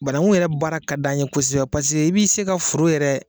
Banaku yɛrɛ baara ka d'an ye kosɛbɛ i b'i se ka foro yɛrɛ.